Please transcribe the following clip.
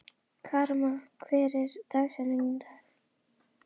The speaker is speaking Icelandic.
Karma, hver er dagsetningin í dag?